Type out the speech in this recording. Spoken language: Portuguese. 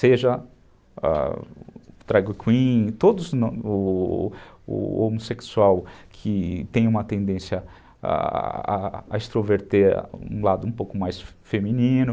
Seja o drag queen, o homossexual que tem uma tendência a a extroverter um lado um pouco mais feminino,